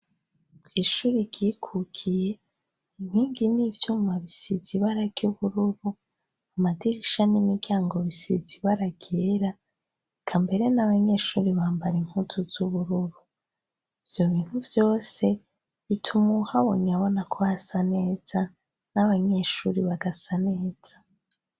Ishuri ryikukiye inkingi n'ivyuma bisize ibara ry' ubururu amadirisha n'imiryango bisize ibara ryera eka mbere n'abanyeshuri bambara impuzu z'ubururu ivyo bintu vyose bituma habonye abona ko hasa neza n'abanyeshuri bagasa neza